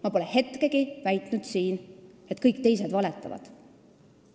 Ma pole kordagi siin väitnud, et kõik teised valetavad.